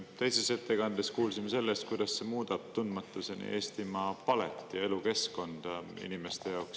Teises ettekandes kuulsime sellest, kuidas see muudab tundmatuseni Eestimaa palet ja elukeskkonda inimeste jaoks.